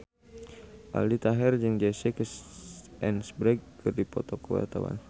Aldi Taher jeung Jesse Eisenberg keur dipoto ku wartawan